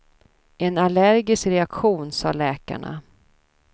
En allergisk reaktion, sa läkarna.